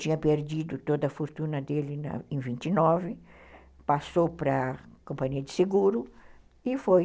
Tinha perdido toda a fortuna dele em vinte e nove, passou para a companhia de seguro e foi